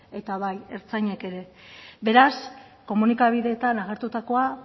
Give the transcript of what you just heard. eta bai ertzainek ere beraz komunikabideetan agertutakoa